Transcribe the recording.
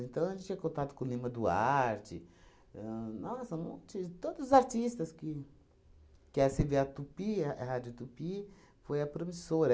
Então, a gente tinha contato com o Lima Duarte, ahn, nossa, um monte, todos os artistas que... Que é você vê a Tupi, a Rádio Tupi, foi a promissora.